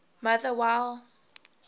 motherwell